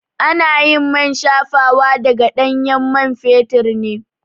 Anayin man shafawa daga ɗanyen man fetur ne